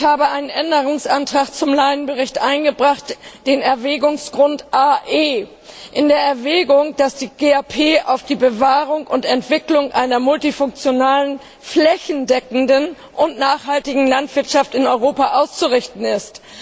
Ich habe einen Änderungsantrag zum Bericht Lyon eingereicht, den Erwägungsgrund Ae In der Erwägung, dass die GAP auf die Bewahrung und Entwicklung einer multifunktionalen flächendeckenden und nachhaltigen Landwirtschaft in Europa auszurichten ist.